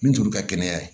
Min t'olu ka kɛnɛya ye